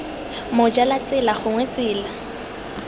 moja la tsela gongwe tsela